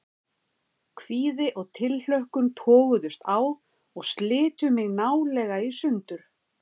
Kvíði og tilhlökkun toguðust á og slitu mig nálega í sundur.